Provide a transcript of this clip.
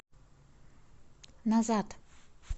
назад